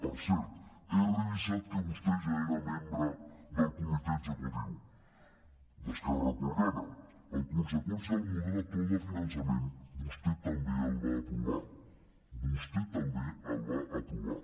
per cert he revisat que vostè ja era membre del comitè executiu d’esquerra republicana en conseqüència el model actual de finançament vostè també el va aprovar vostè també el va aprovar